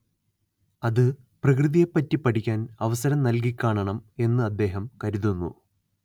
അത് പ്രകൃതിയെപറ്റി പഠിക്കാൻ അവസരം നൽകിക്കാണണം എന്ന് അദ്ദേഹം കരുതുന്നു